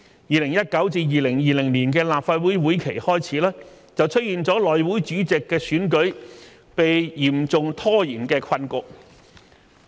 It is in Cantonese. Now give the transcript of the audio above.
2019-2020 年度立法會會期開始，出現了內務委員會主席的選舉被嚴重拖延的困局。